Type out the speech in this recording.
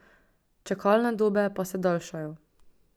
Čakalne dobe pa se daljšajo.